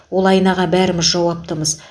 ол айнаға бәріміз жауаптымыз